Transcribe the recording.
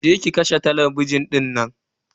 Je ki ki kashe talabijin dinnan